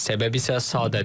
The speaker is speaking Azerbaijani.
Səbəb isə sadədir.